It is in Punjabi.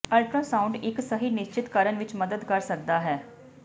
ਅਲਟਰਾਸਾਉਂਡ ਇੱਕ ਸਹੀ ਨਿਸ਼ਚਤ ਕਰਨ ਵਿੱਚ ਮਦਦ ਕਰ ਸਕਦਾ ਹੈ